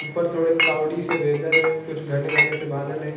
ऊपर थोड़े क्लॉउडी से वेअथेर है कुछ घने-घने से बादल है।